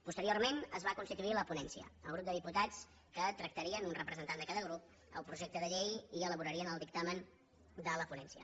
posteriorment es va constituir la ponència el grup de diputats que tractarien un representant de cada grup el projecte de llei i elaborarien el dictamen de la ponència